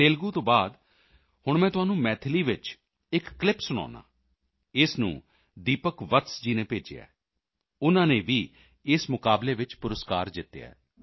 ਤੇਲੁਗੂ ਤੋਂ ਬਾਅਦ ਹੁਣ ਮੈਂ ਤੁਹਾਨੂੰ ਮੈਥਿਲੀ ਵਿੱਚ ਇੱਕ ਕਲਿੱਪ ਸੁਣਾਉਂਦਾ ਹਾਂ ਇਸ ਨੂੰ ਦੀਪਕ ਵਤਸ ਜੀ ਨੇ ਭੇਜਿਆ ਹੈ ਉਨ੍ਹਾਂ ਨੇ ਵੀ ਇਸ ਮੁਕਾਬਲੇ ਵਿੱਚ ਪੁਰਸਕਾਰ ਜਿੱਤਿਆ ਹੈ